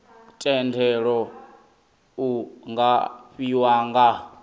thendelo iu nga fhiwa nga